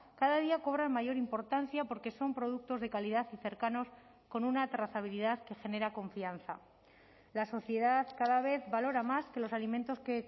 cada día cobran mayor importancia porque son productos de calidad y cercanos con una trazabilidad que genera confianza la sociedad cada vez valora más que los alimentos que